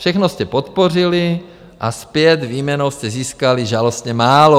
Všechno jste podpořili a zpět výměnou jste získali žalostně málo.